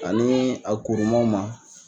Ani a kurumaw ma.